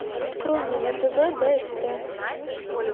открой мне на тв бст